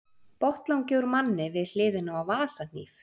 Botnlangi úr manni við hliðina á vasahníf.